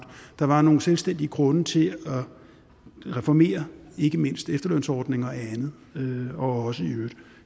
der var nogle selvstændige grunde til at reformere ikke mindst efterlønsordning og andet og også i øvrigt